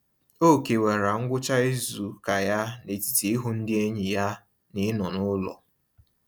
O kewara ngwụcha izuụka ya n'etiti ịhụ ndị enyi ya na ịnọ n'ụlọ.